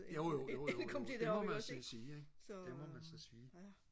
jo jo jo jo det må man så sige ikke det må man så sige